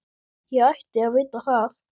Ég ætti að vita það.